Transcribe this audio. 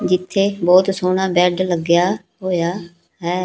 ਜਿੱਥੇ ਬਹੁਤ ਸੋਹਣਾ ਬੈਡ ਲੱਗਿਆ ਹੋਇਆ ਹੈ।